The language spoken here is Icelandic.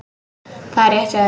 Það er rétt hjá þér.